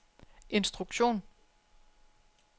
instruktion